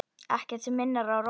Ekkert sem minnir á Rósu.